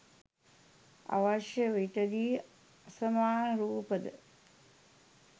අවශ්‍ය විටදී අසමාන රූප ද